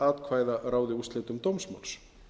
að afla atkvæða ráði úrslitum dómsmáls